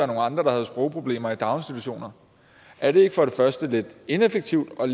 nogle andre der havde sprogproblemer i daginstitutionerne er det ikke for det første lidt ineffektivt og